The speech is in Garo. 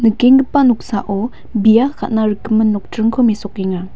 nikenggipa noksao bia ka·na rikgimin nokdringko mesokenga.